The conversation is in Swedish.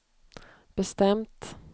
bestämt